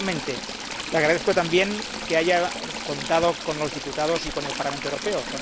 Y, finalmente, le agradezco también que haya contado con los diputados y con el Parlamento Europeo.